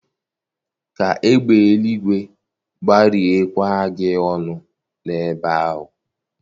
Kaa egbe eluigwe gbarie kwa gị ọnụ n'ebe ahụ